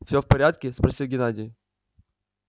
всё в порядке спросил геннадий